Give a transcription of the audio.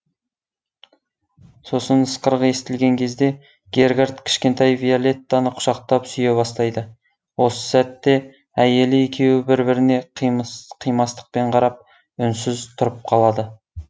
сосын ысқырық естілген кезде гергарт кішкентай виолеттаны қүшақтап сүйе бастайды осы сәтте әйелі екеуі бір біріне қимастықпен қарап үнсіз тұрып қалады